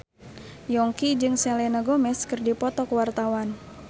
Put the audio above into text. Yongki jeung Selena Gomez keur dipoto ku wartawan